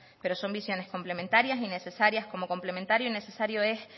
pero son visiones complementarias y necesarias como complementario y necesario es